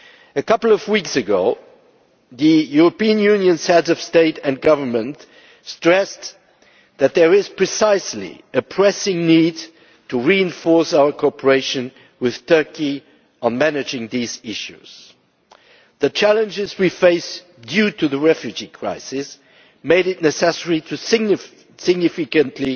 A couple of weeks ago, the European Union's Heads of State and Government stressed that there is a pressing need to reinforce our cooperation with Turkey on managing these issues. The challenges we face due to the refugee crisis made it necessary to step up significantly